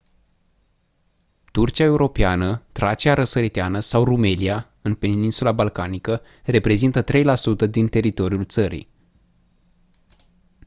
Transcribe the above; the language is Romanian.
turcia europeană tracia răsăriteană sau rumelia în peninsula balcanică reprezintă 3% din teritoriul țării